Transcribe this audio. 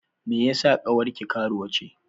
Me yeasa ƙawarki karuwa ce?